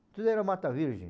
Tudo era Mata Virgem.